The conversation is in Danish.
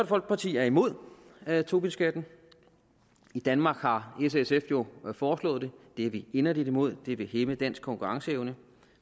folkeparti er imod tobinskatten i danmark har s og sf jo foreslået det det er vi inderligt imod det vil hæmme dansk konkurrenceevne